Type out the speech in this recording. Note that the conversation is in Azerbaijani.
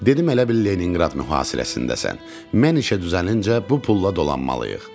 Dedim elə bil Leninqrad mühasirəsindəsən, mən işə düzəlincə bu pulla dolanmalıyıq.